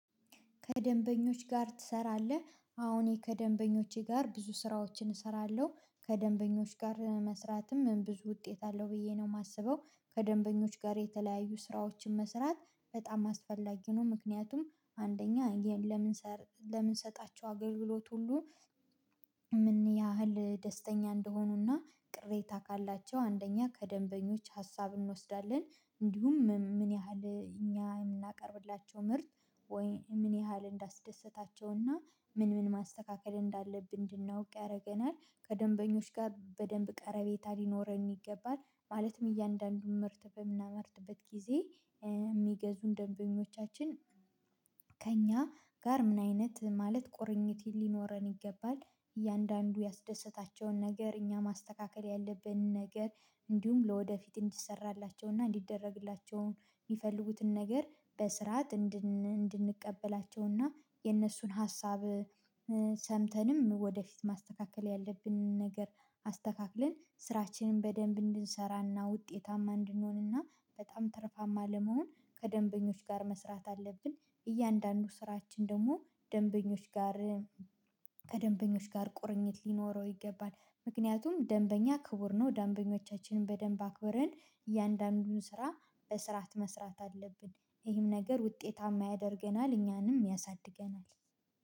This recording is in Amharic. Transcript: ከደንበኞች ጋር ትሰራለህ? አዋ እኔ ከደንበኞቼ ጋር ብዙ ስራዎችን እሰራለሁ ከደንበኞች ጋር መስራትም ብዙ ውጤት አለው ብዬ ነው የማስበው። ከደንበኞች ጋር የተለያዩ ስራዎችን መስራት በጣም አስፈላጊ ነው። ምክንያቱም አንደኛ ለምን ለምንሰጣቸው አገልግሎት ሁሉ ምንያህል ደስተኛ እንደሆኑና ቅሬታ ካላቸው አንደኛ ከደንበኞች ሀሳብ እንወስዳለን። እንዲሁም ምን ያህል እኛ የምናቀርብላቸው ምርት ወይ ምን ያህል እንዳስደሰታቸውና ምን ምን ማስተካከል እንዳለብን እንድናውቅ ያደርገናል ከደንበኞች ጋር በደንብ ቀረቤታ ሊኖረን ይገባል። ማለትም እያንዳንዱን ምርት በምናመርትበት ጊዜ የሚገዙን ደንበኞቻችን ከእኛ ጋር ምን አይነት ማለት ቁርኝት ሊኖረን ይገባል። እያንዳንዱ ያስደሰታቸውን ነገር እኛ ማስተካከል ያለብንን ነገር እንዲሁም ለወደፊት እንዲሰራላቸውና እንዲደረግላቸው የሚፈልጉትን ነገር በስርዓት እንድንቀበላቸውና የነሱን ሀሳብ ሰምተንም ወደፊት ማስተካከል ያለብንን ነገር አስተካክለን ስራችንን በደንብ እንድንሰራና ውጤታማ እንድንሆንና በጣም ትርፋማ ለመሆን ከደንበኞች ጋር መስራት አለብን። እያንዳንዱ ስራችን ደግሞ ደንበኞች ጋር ከደንበኞች ጋር ቁርኝት ሊኖረው ይገባል። ምክንያቱም ደንበኛ ክቡር ነው ደንበኞቻችንን በደንብ አክበርህን እያንዳንዱን ስራ በስርዓት መስራት አለብን ይህም ነገር ውጤታማ ያደርገናል። እኛንም ያሳድገናል